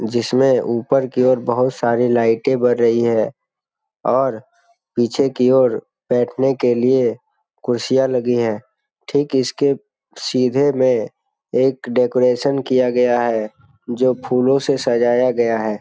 जिसमें ऊपर की और बहुत सारी लाईटे बर रही है और पीछे की ओर बैठने के लिए कुर्सियाँ लगी है। ठीक इसके सीधे में एक डेकोरेशन किया गया है जो फूलो से सजाया गया है।